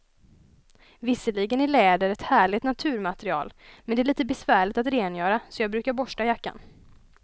Visserligen är läder ett härligt naturmaterial, men det är lite besvärligt att rengöra, så jag brukar borsta jackan.